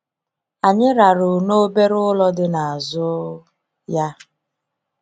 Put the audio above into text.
Anyị rarụ n'obere ụlọ dị n'azụ ya.